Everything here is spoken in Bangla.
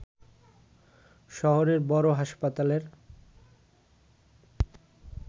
শহরের বড় হাসপাতালের